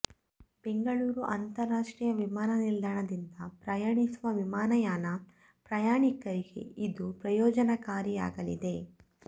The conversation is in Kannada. ಬೆಂಗಳೂರು ಅಂತರಾಷ್ಟ್ರೀಯ ವಿಮಾನ ನಿಲ್ಧಾಣದಿಂದ ಪ್ರಯಾಣಿಸುವ ವಿಮಾನಯಾನ ಪ್ರಯಾಣಿಕರಿಗೆ ಇದು ಪ್ರಯೋನಜನಕಾರಿಯಾಗಲಿದೆ